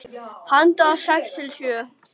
Handa sex til sjö